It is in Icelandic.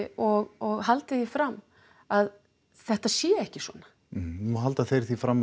og og haldið því fram að þetta sé ekki svona nú halda þeir því fram